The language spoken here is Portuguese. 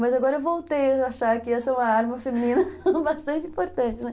Mas agora eu voltei a achar que essa é uma arma feminina bastante importante, né.